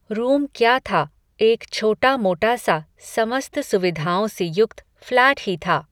room क्या था, एक छोटा मोटा सा, समस्त सुविधाओं से युक्त, फ़्लैट ही था